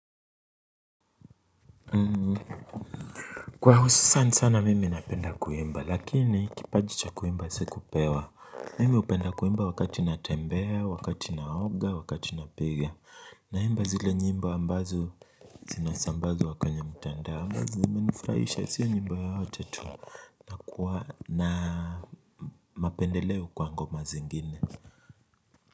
Kwa hususan sana mimi napenda kuimba lakini kipaji cha kuimba sikupewa mimi hupenda kuimba wakati natembea wakati naoga wakati napiga. Naimba zile nyimbo ambazo zinasambazwa kwenye mtandao ambazo zimenifurahisha sio nyimbo yoyote tu na nakuwa na mapendeleo kwa ngoma zingine.